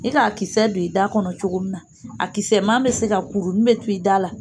I k'a kisɛ don i da kɔnɔ cogo min na a kisɛman be se ka kurunin be to i da la